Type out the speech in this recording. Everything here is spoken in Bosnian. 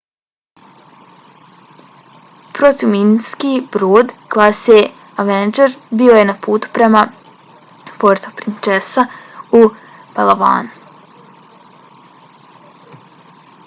protuminski brod klase avenger bio je na putu prema puerto princesa u palawanu